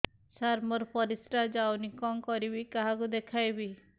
ସାର ମୋର ପରିସ୍ରା ଯାଉନି କଣ କରିବି କାହାକୁ ଦେଖେଇବି